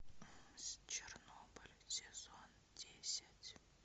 чернобыль сезон десять